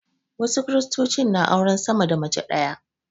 Wasu Kiristocin na auren sama da mace ɗaya.